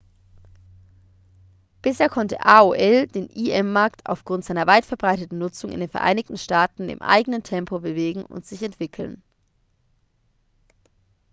bisher konnte aol den im-markt aufgrund seiner weit verbreiteten nutzung in den vereinigten staaten in eigenen tempo bewegen und entwickeln